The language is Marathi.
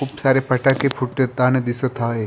खूप सारे फटाके फुटताना दिसत आहे.